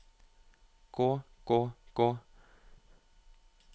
gå gå gå